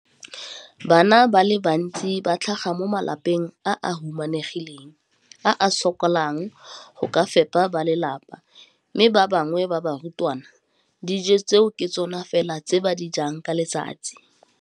Bana ba le bantsi ba tlhaga mo malapeng a a humanegileng a a sokolang go ka fepa ba lelapa mme ba bangwe ba barutwana, dijo tseo ke tsona fela tse ba di jang ka letsatsi.